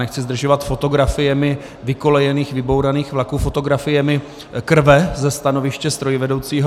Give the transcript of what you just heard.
Nechci zdržovat fotografiemi vykolejených vybouraných vlaků, fotografiemi krve ze stanoviště strojvedoucího.